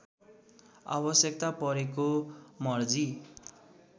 आवश्यकता परेको मर्जी